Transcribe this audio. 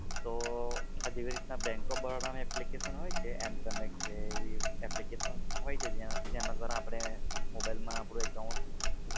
તો આ જેવી રીતે બેન્ક ઓફ બરોડાની application હોય છે, m-Connect જેવી એપ્લિકેશન હોય છે જેના જેના દ્વારા આપડે mobile માં આપડુ account